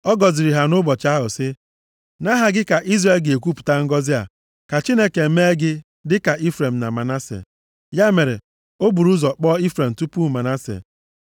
Ọ gọziri ha nʼụbọchị ahụ sị, “Nʼaha gị ka Izrel ga-ekwupụta ngọzị a, ‘Ka Chineke mee gị dịka Ifrem na Manase.’ ” Ya mere o buru ụzọ kpọọ Ifrem tupu Manase.